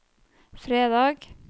fredag